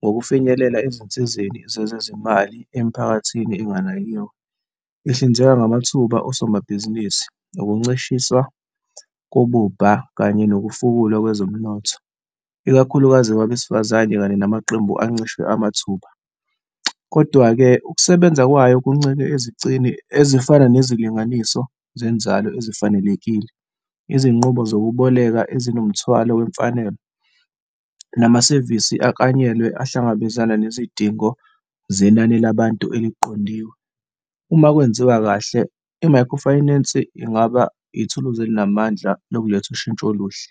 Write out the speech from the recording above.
ngokufinyelela ezinsizeni zezezimali emiphakathini enganakiwe, ihlinzeka ngamathuba osomabhizinisi nokuncishiswa kobubha kanye nokufunda kwezomnotho, ikakhulukazi kwabesifazane kanye namaqembu ancishwe amathuba. Kodwa-ke, ukusebenza kwayo kuncike ezicini ezifana nezilinganiso zenzalo ezifanelekile. Izinqubo zokuboleka ezinomthwalo wezimfanelo, namasevisi aklanyelwe ahlangabezane nezidingo zenani labantu eliqondiwe. Uma kwenziwa kahle, i-microfinance ingaba ithuluzi elinamandla lokuletha ushintsho oluhle.